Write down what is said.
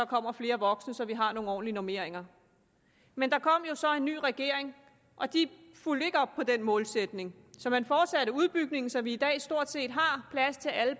kommer flere voksne så vi har nogle ordentlige normeringer men der kom jo så en ny regering og de fulgte ikke op på den målsætning så man fortsatte udbygningen så vi i dag stort set har plads til alle